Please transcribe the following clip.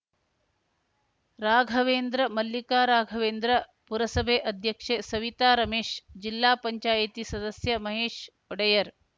ರಾಘವೇಂದ್ರ ಮಲ್ಲಿಕಾ ರಾಘವೇಂದ್ರ ಪುರಸಭೆ ಅಧ್ಯಕ್ಷೆ ಸವಿತಾ ರಮೇಶ್‌ ಜಿಲ್ಲಾ ಪಂಚಾಯಿತಿ ಸದಸ್ಯ ಮಹೇಶ್‌ ಒಡೆಯರ್‌